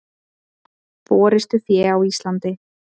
Forystufé á Íslandi.